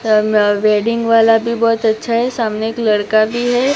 Wedding वाला भी बहोत अच्छा है सामने एक लड़का भी है।